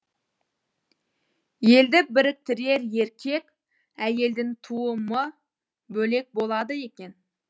елді біріктірер еркек әйелдің туымы бөлек болады екен